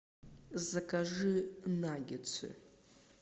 закажи наггетсы